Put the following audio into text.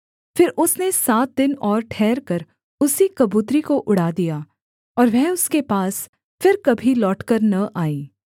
फिर उसने सात दिन और ठहरकर उसी कबूतरी को उड़ा दिया और वह उसके पास फिर कभी लौटकर न आई